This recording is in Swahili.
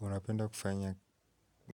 Unapenda kufanya